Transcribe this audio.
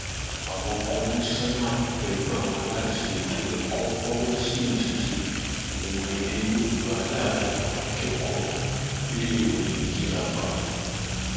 àwọn kọmíṣánná pẹlú àwọn aláṣẹ ètò ẹkọ fọwọ sí ìdíje ìmọ èdè yorùbá láàrin àwọn akẹkọọ iléèwé girama